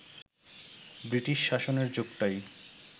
British শাসনের যুগটাই